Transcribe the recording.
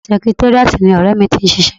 Sẹkitéríàtì ni ni ọ̀rẹ́ mi ti ń ṣiṣẹ́